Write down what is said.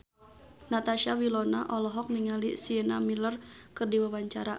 Natasha Wilona olohok ningali Sienna Miller keur diwawancara